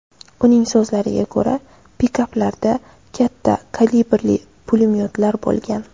Uning so‘zlariga ko‘ra, pikaplarda katta kalibrli pulemyotlar bo‘lgan.